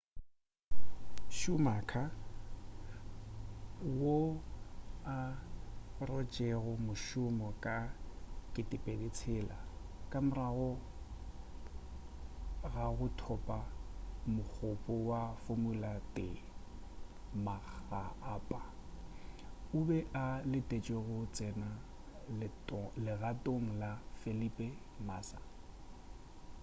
schumacher wo a rotšego mošomo ka 2006 ka morago ga go thopa mogopo wa formula 1 makga a pa o be a letešwe go tsena legatong la felipe massa